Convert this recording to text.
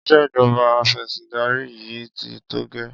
Ìṣèjọba afẹ̀sìndarí yìí ti tó gẹ́.